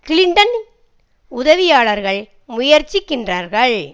கிளின்டனின் உதவியாளர்கள் முயற்சிக்கின்றார்கள்